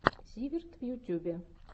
зиверт в ютюбе